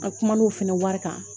An kuma n'o fɛnɛ wari kan